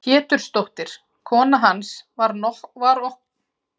Pétursdóttir, kona hans, var okkur krökkunum betri en engin.